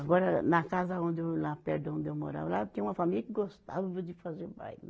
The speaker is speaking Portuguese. Agora, na casa onde eu, lá perto da onde eu morava, lá tinha uma família que gostava de fazer baile.